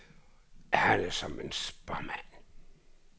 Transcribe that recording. Han er som en spåmand.